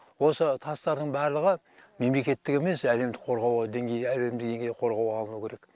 осы тастардың барлығы мемлекеттік емес әлемдік қорғауға деңгей әлемдік деңгейде қорғауға алынуы керек